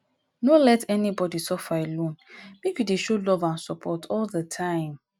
no let anybody suffer alone make you dey show love and support all di time